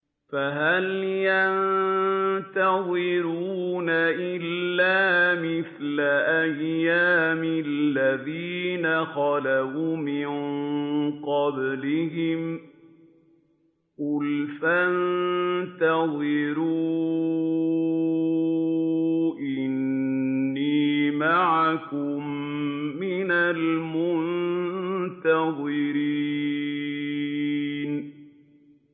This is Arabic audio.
فَهَلْ يَنتَظِرُونَ إِلَّا مِثْلَ أَيَّامِ الَّذِينَ خَلَوْا مِن قَبْلِهِمْ ۚ قُلْ فَانتَظِرُوا إِنِّي مَعَكُم مِّنَ الْمُنتَظِرِينَ